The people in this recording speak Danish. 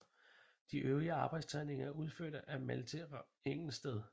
De øvrige arbejdstegninger er udført af Malthe Engelsted